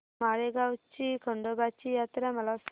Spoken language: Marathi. माळेगाव ची खंडोबाची यात्रा मला सांग